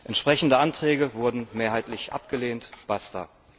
Entsprechende Anträge wurden mehrheitlich abgelehnt, basta!